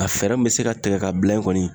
A fɛɛrɛ mun be se ka tigɛ ka bila yen kɔni